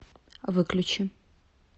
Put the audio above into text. выключи